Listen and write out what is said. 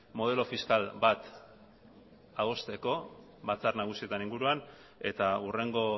modelo fiskal bat adosteko batzar nagusietan inguruan eta hurrengo